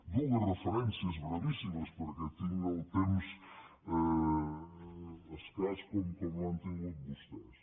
dues referències brevíssimes perquè tinc el temps escàs com l’han tingut vostès